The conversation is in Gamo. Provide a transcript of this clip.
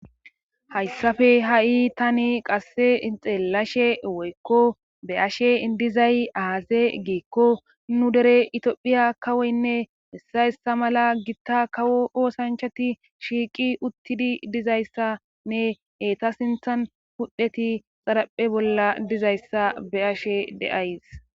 hayssafe ha7i tani qasse xeelashe woykko be ashe idizay aaze giikko nu dere itiophiya kawoynne hessa hessa mala gitta kawo oosanchati shiiqi uttidi dizayssanne eta sinthan hudheti xaraphe bolla dizayssa be ashe deays